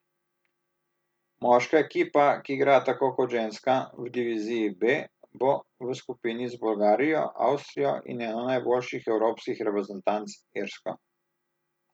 Moška ekipa, ki igra tako kot ženska v diviziji B, bo v skupini z Bolgarijo, Avstrijo in eno najboljših evropskih reprezentanc, Irsko.